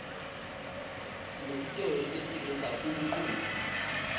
sinetitolo letisengisa uumculo